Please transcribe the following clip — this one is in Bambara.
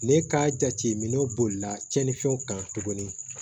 Ne ka jate minɛ bolila tiɲɛnifɛnw kan tuguni